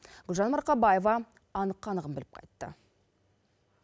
гүлжан марқабаева анық қанығын біліп қайтты